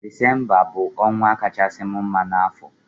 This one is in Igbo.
Disembabụ ọnwa kachasịri m mma n'afọ